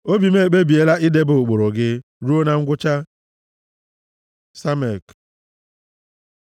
Obi m ekpebiela idebe ụkpụrụ gị ruo na ngwụcha. ס Samek